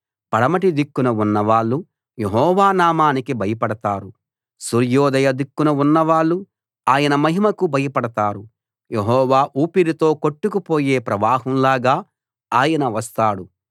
పడమటి దిక్కున ఉన్నవాళ్ళు యెహోవా నామానికి భయపడతారు సూర్యోదయ దిక్కున ఉన్నవాళ్ళు ఆయన మహిమకు భయపడతారు యెహోవా ఊపిరితో కొట్టుకుపోయే ప్రవాహంలాగా ఆయన వస్తాడు